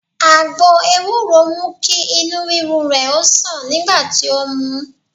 Àgbo ewúro mú kí Inú ríru rè o sàn nígbà tí ó mu ú